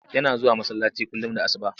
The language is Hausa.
Yana zuwa masallaci kullum da asuba.